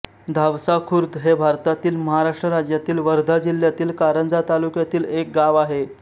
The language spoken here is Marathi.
धावसाखुर्द हे भारतातील महाराष्ट्र राज्यातील वर्धा जिल्ह्यातील कारंजा तालुक्यातील एक गाव आहे